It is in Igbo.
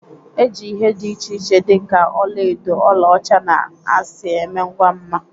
E ji ihe dị iche iche dị ka ọla edo, ọla ọcha, na asị eme ngwa mma